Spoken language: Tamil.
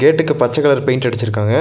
கேட்டுக்கு பச்ச கலர் பெயிண்ட் அடிச்சிருக்காங்க.